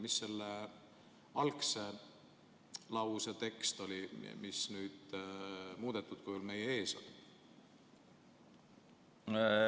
Mis selle algse lause tekst oli, mis nüüd muudetud kujul meie ees on?